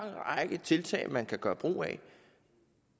række tiltag man kan gøre brug af